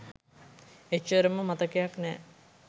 එච්චරම මතකයක් නෑ